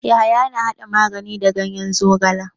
Yahaya na hada magani da ganyen zogala.